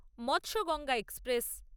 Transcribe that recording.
Matsyagandha express